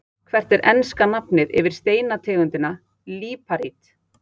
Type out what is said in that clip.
Hvert er enska nafnið yfir steinategundina líparít?